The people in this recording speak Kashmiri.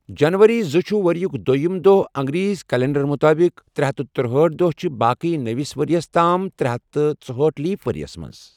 جَنؤری زٕ چھُ ؤریُک دۆیِم دۄہ اَنگریزی کیلنڈَر مُطٲبِق، ترے ہتھ ترُہأٹھ دۄہ چھِ باقی نٔوِس ؤریَس تام ترے ہتھ ژُہاٹھ لیپ ؤریَس مَنٛز